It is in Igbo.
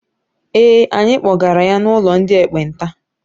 Ee, anyị kpọgara ya n'ụlọ ndị ekpenta.